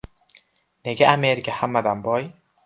Nega Amerika hammadan boy?.